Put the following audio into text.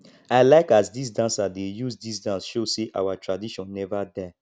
i like as dese dancers dey use dis dance show sey our tradition neva die